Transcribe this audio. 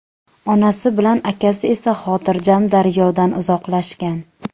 Onasi bilan akasi esa xotirjam daryodan uzoqlashgan.